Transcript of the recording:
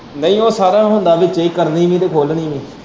ਨਈ ਉਹ ਸਾਰਿਆਂ ਦਾ ਹੁੰਦਾ ਵਿੱਚੇ ਕਰਨੀ ਵੀ ਤੇ ਖੋਲਣੀ ਵੀ।